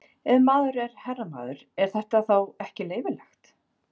Ef maður er herramaður, er þetta þá ekki leyfilegt?